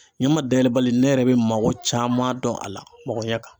Ɲama dayɛlɛbali ne yɛrɛ bɛ mago caman dɔn a la mɔgɔ ɲɛ kan